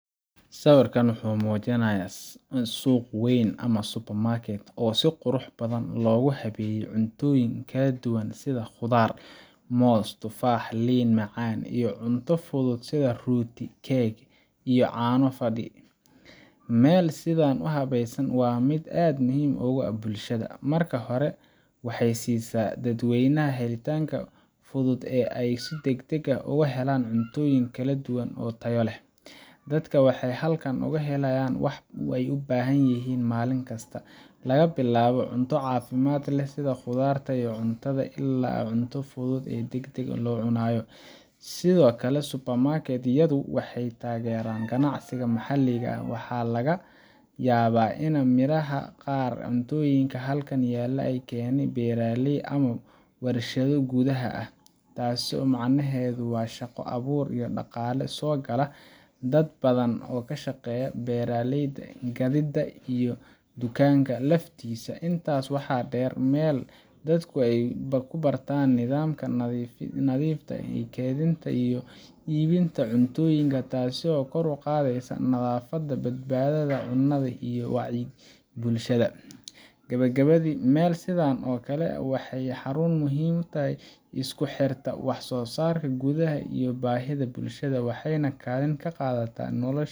Sawirkan wuxuu muujinayaa suuq weyn ama supermarket, oo si qurux badan loogu habeeyay cuntooyin kala duwan sida khudaar – moos, tufaax, liin macaan – iyo cunto fudud sida rooti, keeg, iyo caano fadhi. Meel sidan u habaysan waa mid aad muhiim ugu ah bulshada. Marka hore, waxay siisaa dadweynaha helitaanka fudud oo ay si degdeg ah uga helaan cuntooyin kala duwan oo tayo leh. Dadka waxay halkan ka helayaan wax ay u baahan yihiin maalin kasta – laga bilaabo cunto caafimaad leh sida khudaarta iyo caanaha, ilaa cunto fudud oo degdeg loo cunayo. Sidoo kale, supermarket-yadu waxay taageeraan ganacsiga maxalliga ah – waxaa laga yaabaa in midhaha qaar ama cuntooyinka halkan yaalla laga keenay beeraley ama warshado gudaha ah. Taas macnaheedu waa shaqo abuur iyo dhaqaale soo gala dad badan oo ka shaqeeya beeralayda, gaadiidka, iyo dukaanka laftiisa. Intaa waxaa dheer, waa meel dadku ay ku bartaan nidaamka nadiifta ah ee kaydinta iyo iibinta cuntooyinka, taasoo kor u qaadaysa nadaafadda, badbaadada cunada, iyo wacyiga bulshada. Gabagabadii, meel sidan oo kale ah waa xarun muhiim ah oo isku xirta wax soo saarka gudaha iyo baahida bulshada, waxayna kaalin ka qaadataa nolosha